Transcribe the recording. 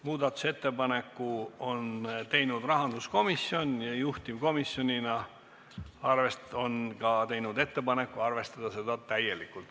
Muudatusettepaneku on teinud rahanduskomisjon ja juhtivkomisjonina on ta teinud ka ettepaneku arvestada seda täielikult.